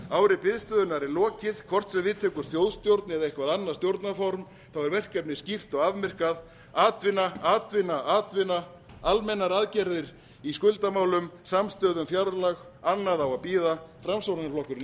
ári biðstöðunnar er lokið hvort sem við tekur þjóðstjórn eða eitthvert annað stjórnarform er verkefnið skýrt og afmarkað atvinna atvinna atvinna almennar aðgerðir í skuldamálum samstöðu um fjárlög annað á að bíða framsóknarflokkurinn er